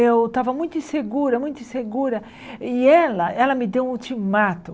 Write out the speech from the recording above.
Eu estava muito insegura, muito insegura, e ela ela me deu um ultimato.